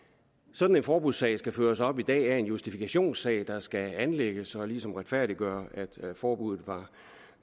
sådan en forbudssag skal følges op i dag af en justifikationssag der skal anlægges og ligesom retfærdiggøre at forbuddet